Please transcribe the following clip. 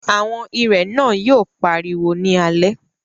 Àwọn ìrẹ̀ náà yóò pariwo ní alẹ́